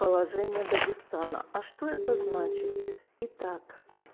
положение дагестана а что это значит итак